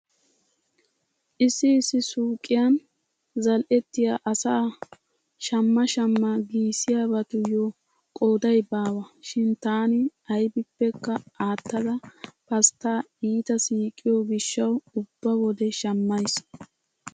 Issi issi suuqiyan zal"ettiya asaa shamma shamma giissiyabatuyyo qooday baawa. Shin taani aybippekka aattada pasttaa iita siiqiyo gishshawu ubba wode shammays.